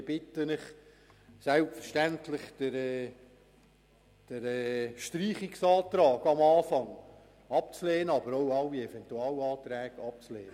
Ich bitte Sie, selbstverständlich den Streichungsantrag, aber auch alle Eventualanträge abzulehnen.